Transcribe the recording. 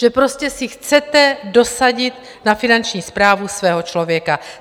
Že prostě si chcete dosadit na Finanční správu svého člověka.